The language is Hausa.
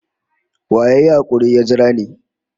Wa ya yi hakuri ya jira ni?